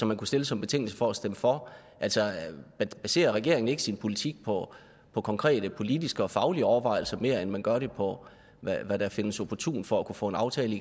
man kunne stille som betingelse for at stemme for baserer regeringen ikke sin politik på konkrete politiske og faglige overvejelser mere end man gør det på hvad der findes opportunt for at kunne få en aftale